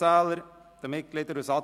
Diverse erhielten 1 Stimme